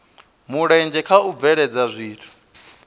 mulenzhe kha u bveledza zwithu